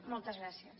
moltes gràcies